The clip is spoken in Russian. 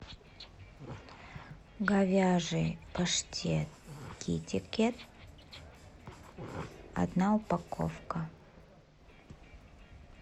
говяжий паштет китикет одна упаковка